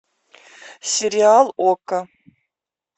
сериал окко